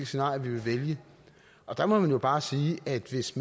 scenarie vi vil vælge og der må man jo bare sige at hvis